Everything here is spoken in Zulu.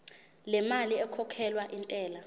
lemali ekhokhelwa intela